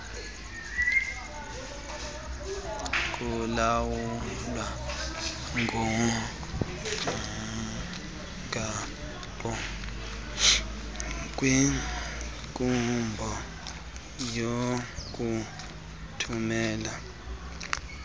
kulawulwa ngumgaqonkqubo wokuthumela